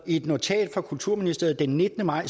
i et notat fra kulturministeriet den nittende maj